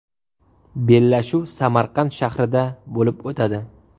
Bellashuv Samarqand shahrida bo‘lib o‘tadi.